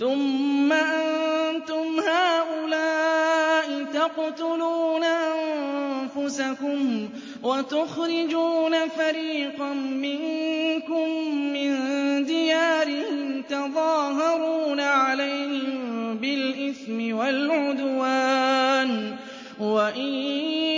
ثُمَّ أَنتُمْ هَٰؤُلَاءِ تَقْتُلُونَ أَنفُسَكُمْ وَتُخْرِجُونَ فَرِيقًا مِّنكُم مِّن دِيَارِهِمْ تَظَاهَرُونَ عَلَيْهِم بِالْإِثْمِ وَالْعُدْوَانِ وَإِن